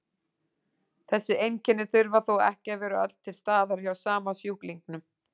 Þessi einkenni þurfa þó ekki að vera öll til staðar hjá sama sjúklingnum.